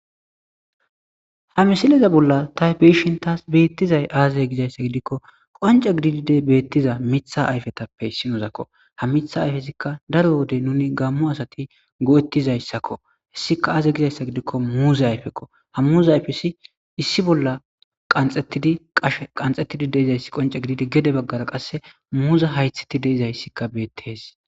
Ha misileza bolla tani be'ashe taasi betizayi aze giza issa giddiko qoncce giddizi beetiza mitha ayfetappe issinoko ha mitha ayfetappe daro wode nuni gamo asati go'etiza issako.issika aze giza giddiko muze ayfeko ha muza ayfeti issi bolla qanxetidi qashetidi diza issi qoncce giddishin ya baggara diza issi qa muza hayith diza issika beetttes